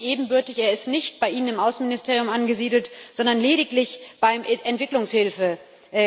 Er ist nicht ebenbürtig, er ist nicht bei Ihnen im Auswärtigen Dienst angesiedelt, sondern lediglich beim Entwicklungshilfekommissar.